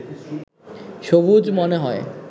সবুজ মনে হয়